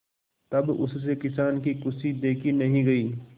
तब उससे किसान की खुशी देखी नहीं गई